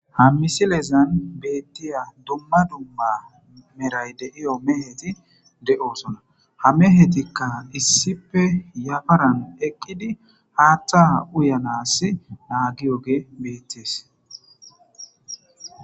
Ha misilezan beettiya dumma dumma meray deiyo meheti de7osona ha mehetikka issipe yafaran eqqidi haaththa uyanas naagiyoge beettees.